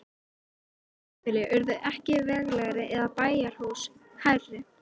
Íslensk híbýli urðu ekki veglegri eða bæjarhús hærri.